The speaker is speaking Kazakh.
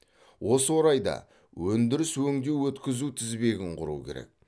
осы орайдае өндіріс өңдеу өткізу тізбегін құру керек